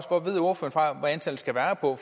hvor